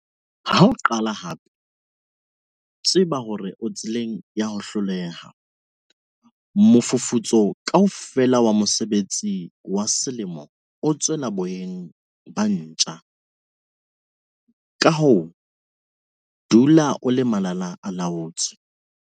Ha o qala hampe, tseba hore o tseleng ya ho hloleha - mofufutso kaofela wa mosebetsi wa selemo o tswela boyeng ba ntja. Ka hoo, dula o le malala-a-laotswe.